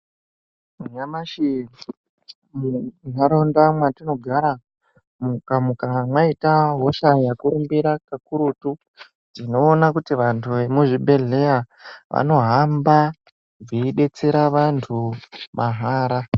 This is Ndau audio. Nyamashi mu nharaunda mwatinogara mukanga mwaita hosha ya kurumbira ka kurutu tinoona kuti vantu ve mu zvibhedhlera vano hamba veyi detsera vantu kakurutu.